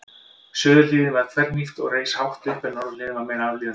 Suðurhliðin var þverhnípt og reis hátt upp en norðurhliðin var meira aflíðandi.